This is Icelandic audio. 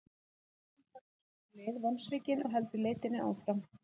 Karlinn fer þá sína leið vonsvikinn og heldur leitinni áfram.